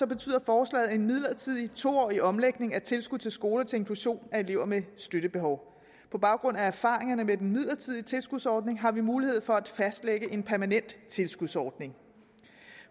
betyder forslaget en midlertidig to årig omlægning af tilskud til skoler til inklusion af elever med støttebehov på baggrund af erfaringerne med den midlertidige tilskudsordning har vi mulighed for at fastlægge en permanent tilskudsordning